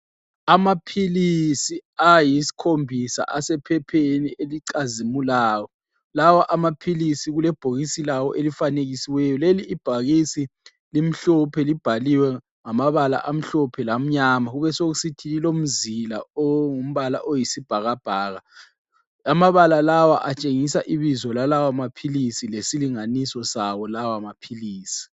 Amaphilisi ayisikhombisa asephepheni elicazimulayo, lawa amaphilisi kule bhokisi lawo elifanekisiweyo, leli ibhokisi limhlophe libhaliwe ngamabala amhlophe lamnyama kubesokusithi lilomzila ongumbala oyisibhakabhaka, amabala lawa atshengisa ibizo lalawa maphilisi lesilinganiso sawo lawa maphilisi.